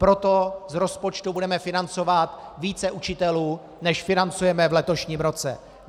Proto z rozpočtu budeme financovat více učitelů, než financujeme v letošním roce.